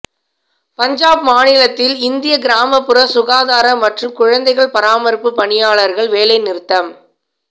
பஞ்சாப் மாநிலத்தில் இந்திய கிராமப்புற சுகாதார மற்றும் குழந்தைகள் பராமரிப்புப் பணியாளர்கள் வேலைநிறுத்தம்